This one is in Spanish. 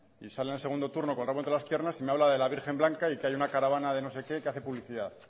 y sale en el segundo turno con el rabo entre las piernas y me habla de la virgen blanca y de que hay una caravana de no sé qué que hace publicidad